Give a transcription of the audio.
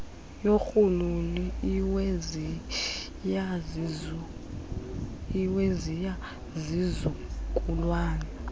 yorhuululu iweziya zizukulwana